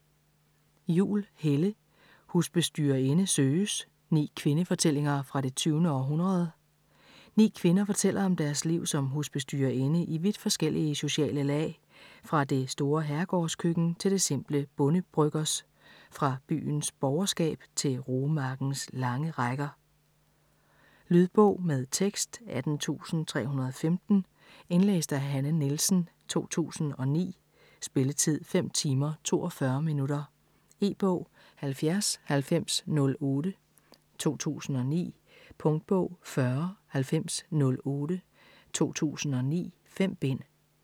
Juhl, Helle: Husbestyrerinde søges: ni kvindefortællinger fra det 20. århundrede Ni kvinder fortæller om deres liv som husbestyrerinde i vidt forskellige sociale lag, fra det store herregårdskøkken til det simple bondebryggers, fra byens borgerskab til roemarkens lange rækker. Lydbog med tekst 18315 Indlæst af Hanne Nielsen, 2009. Spilletid: 5 timer, 42 minutter. E-bog 709008 2009. Punktbog 409008 2009. 5 bind.